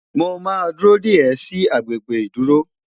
Mó má dúró dé e sì agbègbè ìdúró